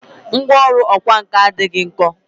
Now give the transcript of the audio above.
Ngwá ọrụ ọkwá nkà adịghị nkọ